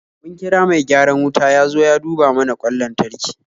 Mun kira mai gyaran wuta ya zo ya duba mana kwan lantarki